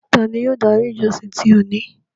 Tání yóò dári ìjọ̀ṣìn ti óni?